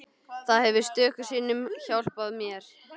Það hefur stöku sinnum hjálpað mér.